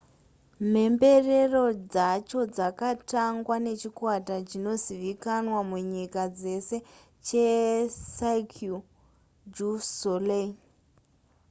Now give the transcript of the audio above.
mhemberero dzacho dzakatangwa nechikwata chinozivikanwa munyika dzese checirque du soleil